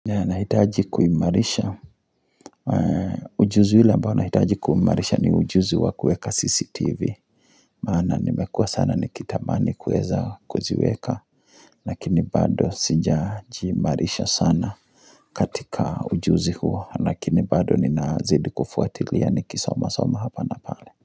Nahitaji kuimarisha ujuzi ule ambao nahitaji kuimarisha ni ujuzi wa kuweka CCTV. Maana nimekua sana nikitamani kuweza kuziweka. Lakini bado sija jiimarisha sana katika ujuzi huo lakini bado nina zidi kufuatilia nikisoma soma hapa na pale.